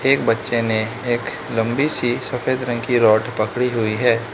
एक बच्चे ने एक लंबी सी सफेद रंग की रोड पकड़ी हुई है।